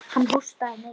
Hann hóstaði mikið.